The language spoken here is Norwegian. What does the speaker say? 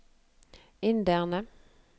inderne